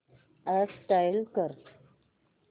app install कर